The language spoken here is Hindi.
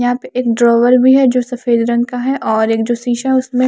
यहा पे एक ड्रॉवर भी है जो सफ़ेद रंग का है और एक जो शीशा उसनमें --